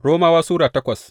Romawa Sura takwas